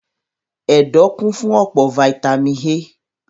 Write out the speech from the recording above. Ẹ̀dọ̀ kún fún ọ̀pọ̀ fataímìn A.